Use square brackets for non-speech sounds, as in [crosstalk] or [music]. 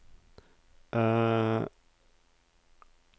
[hesitation]